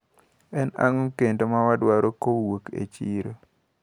En ang`o kendo mawadwaro kowuok e chiro?